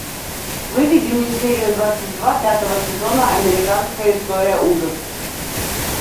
выведи мне серию двадцать два пятого сезона американская история ужасов